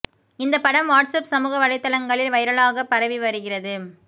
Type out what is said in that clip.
இந்த படம் WhatsApp சமூக வலைத்தளங்களில் வைரலாக பரவி வருகிறது